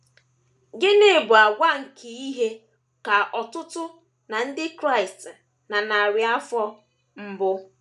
Gịnị bụ àgwà nke ihe ka ọtụtụ ná ndị Kraịst na narị afọ mbụ?